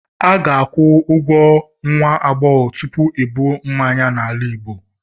a ga-akwụ ụgwọ nwa agbọghọ tupu ebuo mmanya n'ala igbo